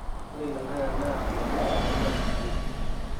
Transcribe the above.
ore ilanterera naa eletipat toonkuapi kumok